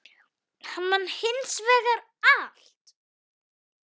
Hann man hins vegar allt.